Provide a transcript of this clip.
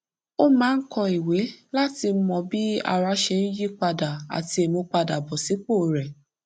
ó máa ń kọ ìwé láti mọ bí ara ṣe ń yípadà àti ìmúpadàbọsípò rẹ